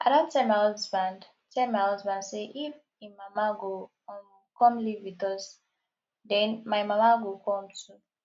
i don tell my husband tell my husband say if im mama go um come live with us den my mama go come too